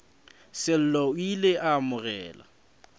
sello o ile a amogela